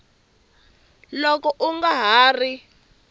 loko u nga ha ri